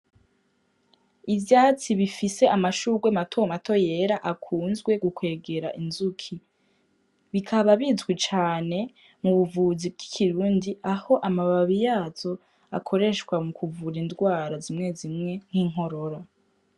Ivyatsi bifise amashurwe matomato yera akunzwe gukwegera inzuki bikaba bizwi cane mu buvuzi bw'ikirundi aho amababi yazo akoreshwa mu kuvura indwara zimwe zimwe nk'inkorora.